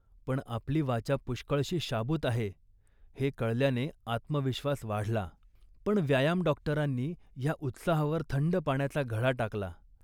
पण, आपली वाचा पुष्कळशी शाबूत आहे हे कळल्याने आत्मविश्वास वाढला. पण, व्यायाम डॉक्टरांनी या उत्साहावर थंड पाण्याचा घडा टाकला